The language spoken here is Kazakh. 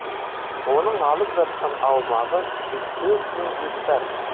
оның алып жатқан аумағы жүз төрт мың гектар